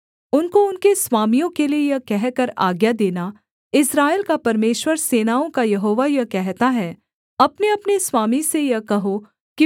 उनको उनके स्वामियों के लिये यह कहकर आज्ञा देना इस्राएल का परमेश्वर सेनाओं का यहोवा यह कहता है अपनेअपने स्वामी से यह कहो कि